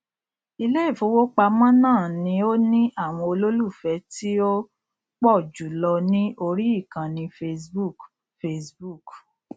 iléìfowópamọ náà ni ó ní àwọn olólùfẹ tí ó pọ jù lọ ní orí ìkànnì facebook facebook